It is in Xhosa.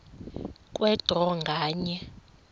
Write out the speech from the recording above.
kwe draw nganye